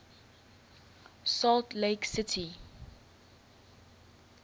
salt lake city